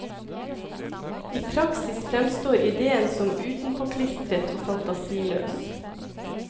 I praksis fremstår idéen som utenpåklistret og fantasiløs.